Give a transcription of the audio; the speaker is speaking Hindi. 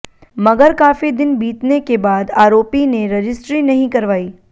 मगर काफी दिन बीतने के बाद आरोपी ने रजिस्टरी नहीं करवाई